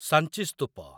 Sanchi ସ୍ତୂପ